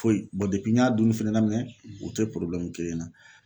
Foyi n y'a dunni fɛnɛ daminɛn u tɛ na.